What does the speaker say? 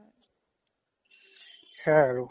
সেইয়া আৰু